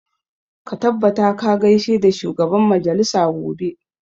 Ka tabbata ka gaishe da shugaban majalisa gobe!